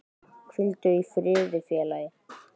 Hvíldu í friði félagi.